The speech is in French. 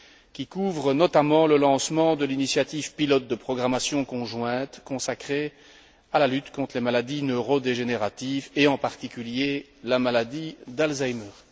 qui couvrent notamment le lancement de l'initiative pilote de programmation conjointe consacrée à la lutte contre les maladies neurodégénératives et, en particulier, la maladie d'Alzheimer